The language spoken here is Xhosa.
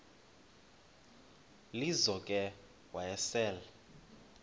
lizo ke wayesel